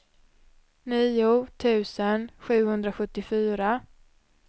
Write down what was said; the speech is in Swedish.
nio tusen sjuhundrasjuttiofyra